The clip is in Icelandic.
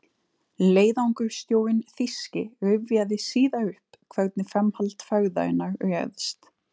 Leiðangursstjórinn þýski rifjaði síðar upp, hvernig framhald ferðarinnar réðst.